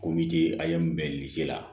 Kom'i a ye mun bɛn la